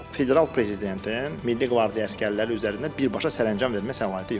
Federal prezidentin Milli Qvardiya əsgərləri üzərində birbaşa sərəncam vermək səlahiyyəti yoxdur.